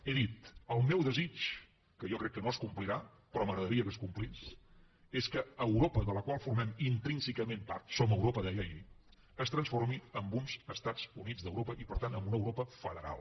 he dit el meu desig que jo crec que no es complirà però m’agradaria que es complís és que europa de la qual formem intrínsecament part som europa deia ahir es transformi en uns estats units d’europa i per tant en una europa federal